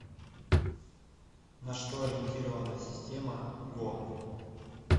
на что ориентирована система го